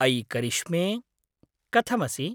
अयि करिश्मे! कथमसि?